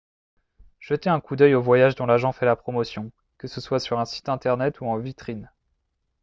jetez un coup d'œil aux voyages dont l'agent fait la promotion que ce soit sur un site internet ou en vitrine